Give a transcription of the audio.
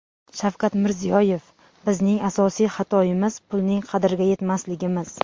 Shavkat Mirziyoyev: Bizning asosiy xatoimiz pulning qadriga yetmasligimiz!